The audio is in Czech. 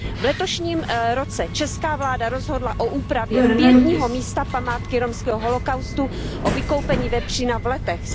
V letošním roce česká vláda rozhodla o úpravě pietního místa památky romského holokaustu, o vykoupení vepřína v Letech.